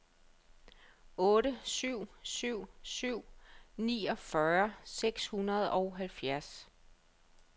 otte syv syv syv niogfyrre seks hundrede og halvfjerds